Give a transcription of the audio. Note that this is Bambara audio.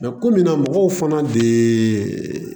komi mɔgɔw fana de ye